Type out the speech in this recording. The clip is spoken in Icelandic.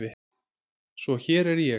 Svo hér er ég.